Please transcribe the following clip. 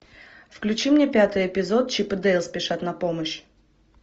включи мне пятый эпизод чип и дейл спешат на помощь